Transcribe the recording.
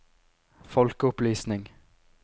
folkeopplysning